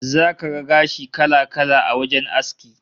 Zaka ga gashi kala-kala a wajen aski